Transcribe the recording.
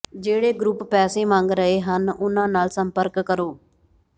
ਜਿਹੜੇ ਗਰੁੱਪ ਪੈਸੇ ਮੰਗ ਰਹੇ ਹਨ ਉਨ੍ਹਾਂ ਨਾਲ ਸੰਪਰਕ ਕਰੋ